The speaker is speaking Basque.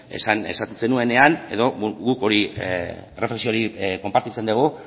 esan zenuenean edo guk erreflexio hori konpartitzen dugu